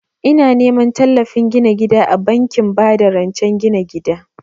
Ina neman tallafin gina gida a bankin ba da rancen gina gida